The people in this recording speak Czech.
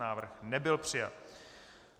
Návrh nebyl přijat.